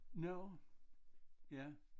Nårh ja